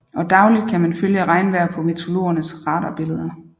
Og dagligt kan man følge regnvejr på meteorologernes radarbilleder